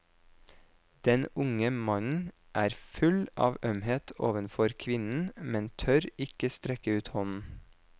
Den unge mannen er full av ømhet overfor kvinnen, men tør ikke strekke ut hånden.